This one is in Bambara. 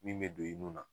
Min bɛ don i nun na